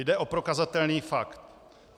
Jde o prokazatelný fakt.